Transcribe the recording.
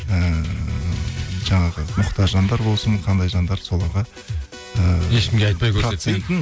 ііі жаңағы мұқтаж жандар болсын қандай жандар соларға ііі ешкімге айтпай